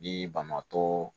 Bi bamakɔ